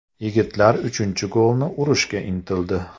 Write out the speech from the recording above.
Yigitlar uchinchi golni urishga intildi.